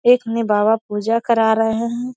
एक मे बाबा पूजा करा रहेे है।